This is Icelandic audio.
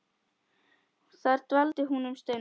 Þar dvaldi hún um stund.